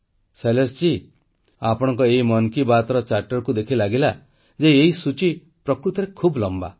ଶୈଳେଶଜୀ ଆପଣଙ୍କ ଏହି ମନ୍ କି ବାତ୍ର ଚାର୍ଟରକୁ ଦେଖି ଲାଗିଲା ଯେ ଏହି ସୂଚୀ ପ୍ରକୃତରେ ବହୁତ ଲମ୍ବା